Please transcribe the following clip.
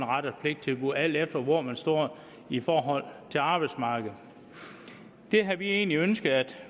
ret og pligt tilbud alt efter hvor man står i forhold til arbejdsmarkedet det havde vi egentlig ønsket at